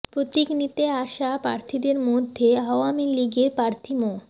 প্রতীক নিতে আসা প্রার্থীদের মধ্যে আওয়ামী লীগের প্রার্থী মো